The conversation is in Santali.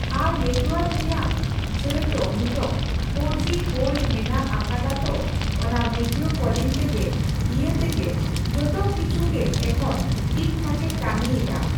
ᱟᱨ ᱱᱮᱴᱣᱟᱨᱠ ᱨᱮᱭᱟᱜ ᱪᱟᱲ ᱫᱚ ᱱᱤᱛᱚᱜ ᱔ ᱡᱤ ᱵᱷᱳᱞᱴ ᱢᱮᱱᱟᱜ ᱟᱠᱟᱫᱟᱛᱳ ᱚᱱᱟ ᱵᱷᱤᱰᱭᱳ ᱠᱚᱞᱤᱝ ᱛᱮᱜᱮ ᱤᱭᱟᱹ ᱛᱮᱜᱮ ᱡᱚᱛᱚ ᱠᱤᱪᱷᱩ ᱜᱮ ᱮᱠᱷᱚᱱ ᱴᱷᱤᱠ ᱴᱷᱟᱠ ᱮ ᱠᱟᱹᱢᱤᱭ ᱮᱫᱟ ᱾